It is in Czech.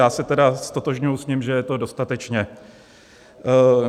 Já se tedy ztotožňuji s ním, že je to dostatečné.